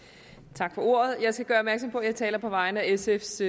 tak for ordet jeg skal gøre opmærksom på at jeg taler på vegne af sfs